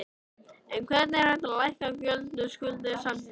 En hvernig er hægt að lækka gjöld og skuldir samtímis?